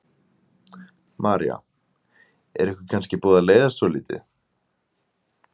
María: Er ykkur kannski búið að leiðast svolítið?